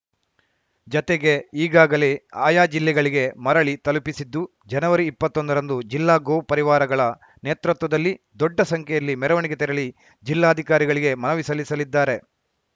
ಜತೆಗೆ ಈಗಾಗಲೇ ಆಯಾ ಜಿಲ್ಲೆಗಳಿಗೆ ಮರಳಿ ತಲುಪಿಸಿದ್ದು ಜನವರಿ ಇಪ್ಪತ್ತೊಂದರಂದು ಜಿಲ್ಲಾ ಗೋ ಪರಿವಾರಗಳ ನೇತೃತ್ವದಲ್ಲಿ ದೊಡ್ಡ ಸಂಖ್ಯೆಯಲ್ಲಿ ಮೆರವಣಿಗೆ ತೆರಳಿ ಜಿಲ್ಲಾಧಿಕಾರಿಗಳಿಗೆ ಮನವಿ ಸಲ್ಲಿಸಲಿದ್ದಾರೆ